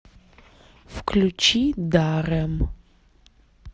включи даррэм